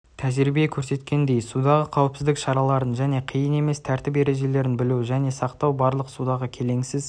тәжрибе көрсеткендей судағы қауіпсіздік шараларын және қиын емес тәртіп ережелерін білу және сақтау барлық судағы келеңсіз